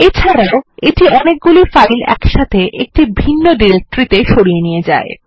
এছাড়াও এটি অনেকগুলি ফাইল একসাথে একটি ভিন্ন ডিরেক্টরিতে সরিয়ে নিয়ে যায়